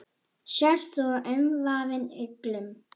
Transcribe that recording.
Sért þú umvafin englum.